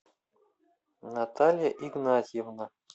наталья игнатьевна